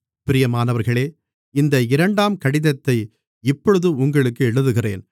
பிரியமானவர்களே இந்த இரண்டாம் கடிதத்தை இப்பொழுது உங்களுக்கு எழுதுகிறேன்